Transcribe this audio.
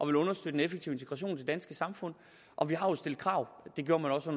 vil understøtte en effektiv integration i det danske samfund og vi har jo stillet krav det gjorde man så